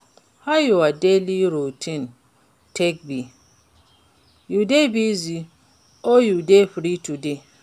How your daily routine take be? You dey busy or you dey free today?